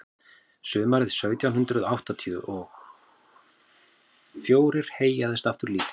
sumarið sautján hundrað áttatíu og fjórir heyjaðist aftur lítið